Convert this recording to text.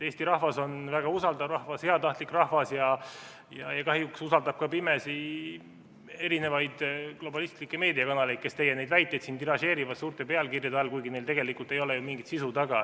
Eesti rahvas on väga usaldav rahvas, heatahtlik rahvas ja kahjuks usaldab ka pimesi erinevaid globalistlikke meediakanaleid, kes teie väiteid tiražeerivad suurte pealkirjade all, kuigi neil tegelikult ei ole ju mingit sisu taga.